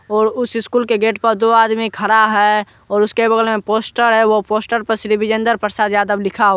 और उस स्कूल के गेट पर दो आदमी खड़ा है। और उसके बगल में पोस्टर है। वो पोस्टर पे श्री विजिंदर प्रसाद यादव लिखा--